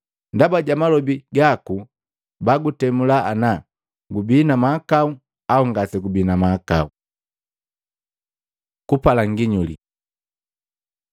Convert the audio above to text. Ndaba ja malobi gaku bagutemula ana gubii na mahakau au ngasegubina mahakau. Kupala nginyuli Maluko 8:11-12; Luka 11:29-32